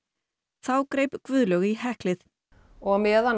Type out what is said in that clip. þá greip Guðlaug í heklið og á meðan